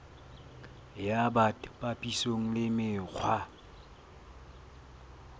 ya bt papisong le mekgwa